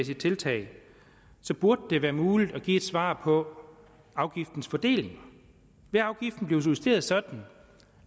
tiltag så burde det være muligt at give et svar på afgiftens fordeling vil afgiften blive justeret sådan